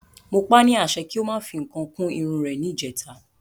Mo pa ni àṣẹ pé kí o máa fi nǹkan kún Irun rè ni ìjèta